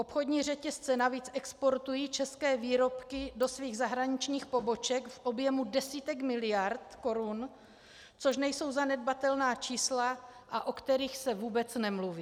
Obchodní řetězce navíc exportují české výrobky do svých zahraničních poboček v objemu desítek miliard korun, což nejsou zanedbatelná čísla, a o kterých se vůbec nemluví.